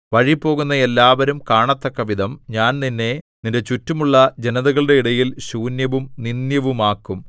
വഴിപോകുന്ന എല്ലാവരും കാണത്തക്കവിധം ഞാൻ നിന്നെ നിന്റെ ചുറ്റുമുള്ള ജനതകളുടെ ഇടയിൽ ശൂന്യവും നിന്ദ്യവുമാക്കും